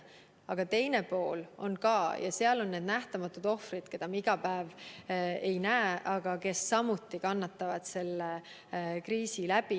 Aga on ka teine pool – need on nähtamatud ohvrid, keda me iga päev ei näe, aga kes samuti kannatavad selle kriisi tõttu.